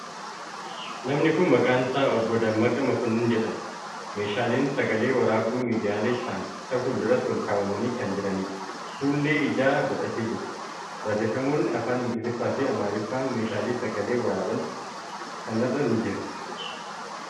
Namni kuni maqaan isaa Obbo Dammaqee Makkonnin jedhama. Meeshaaleen sagalee waraabduu miidiyaalee ta'an isa fuulduratti olkaawwamanii kan jiranidha. Fuullee ijaa godhatee jira. Barreeffamootni afaan Ingiliffaa fi Amaariffaa meeshaalee sagalee waraaban kanarra ni jiru.